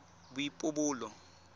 boipobolo